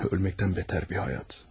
Ölməkdən betər bir həyat.